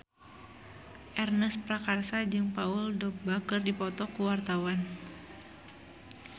Ernest Prakasa jeung Paul Dogba keur dipoto ku wartawan